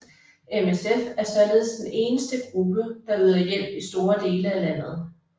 MSF er således den eneste gruppe der yder hjælp i store dele af landet